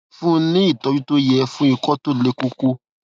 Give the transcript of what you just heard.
fún un ní ìtọjú tó yẹ fún ikọ tó le koko